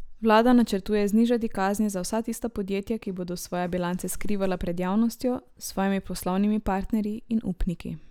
Vlada načrtuje znižati kazni za vsa tista podjetja, ki bodo svoje bilance skrivala pred javnostjo, svojimi poslovnimi partnerji in upniki.